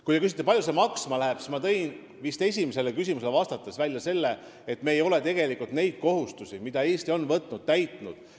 Kui te küsite, kui palju see maksma läheb, siis ma tõin vist esimesele küsimusele vastates välja selle, et me ei ole tegelikult neid kohustusi, mille Eesti on võtnud, täitnud.